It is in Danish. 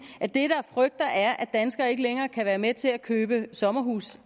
at det jeg frygter er at danskerne ikke længere kan være med til at købe sommerhuse